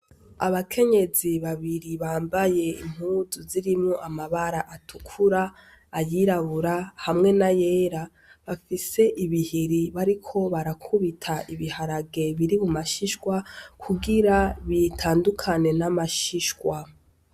Abakenyezi babiri bambaye impuzu zirimwo amabara atukura ,ayirabura hamwe na yera bafise ibihiri bariko barakubita ibiharage biri muma shishwa kugira bitandukane n'amashishwa.